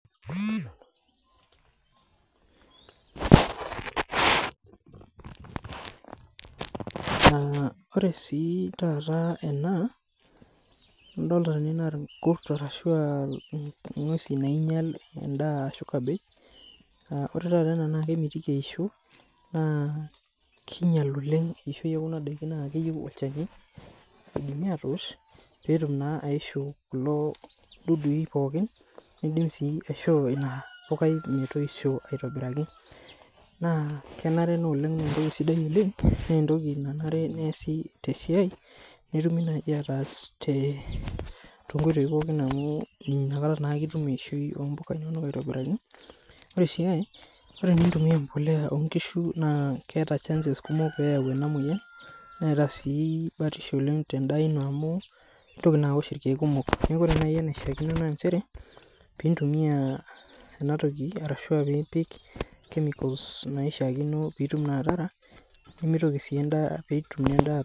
Ah ore sii taata ena nadolita ninye enaa irkut ashu inguesi nainyial endaa ashu, cabbage. Ah ore taata ena naa kemitiki eisho naa, kinyial oleng eishoi ekuna daiki naa, keyieu olchani peetumi atoosh peetum naa aishuu kulo dudui pookin nidim sii aishoo ina pukai metoisho aitobiraki. Naa kenare naa oleng naa etoki sidai oleng naa etoki nanare neasi te siai netumi naaji ataas tonkoitoi pookin amu, inakata naake itum eishoi oopuka inonok aitobiraki. Ore si ae ore itumia ebolea onkishu naa keeta chances kumok pee eyau ena moyian. Neata sii batisho tendaa ino amu, itoki naa awosh irkeek kumok. Neaku ore naaji enaishiakino naa, nchere pee itumia ena toki arashu, ah ore ipik chemicals ipuka inonok peeitumie endaa.